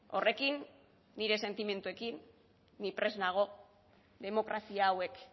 horrekin nire sentimenduekin ni prest nago demokrazia hauek